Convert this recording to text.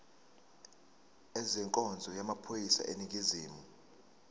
ezenkonzo yamaphoyisa aseningizimu